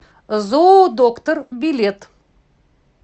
зоодоктор билет